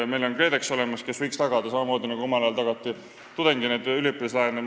Meil on olemas KredEx, kes võiks tagada neid laene samamoodi, nagu omal ajal maksti kinni üliõpilaste laene.